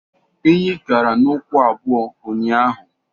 Enyi gara n' ụkwụ abụo unyaahụ.